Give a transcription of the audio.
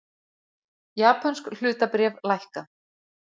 Japönsk hlutabréf lækka